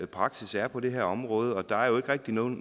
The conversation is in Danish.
praksis er på det her område og der er jo ikke rigtig nogen